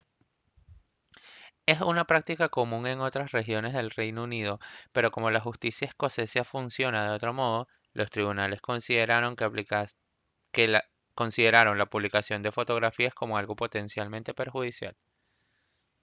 es una práctica común en otras regiones del reino unido pero como la justicia escocesa funciona de otro modo los tribunales consideraron la publicación de fotografías como algo potencialmente perjudicial